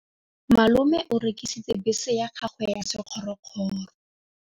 Malome o rekisitse bese ya gagwe ya sekgorokgoro.